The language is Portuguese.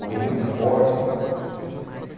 Orou muito forte.